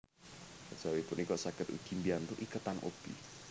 Kejawi punika saged ugi mbiyantu iketan obi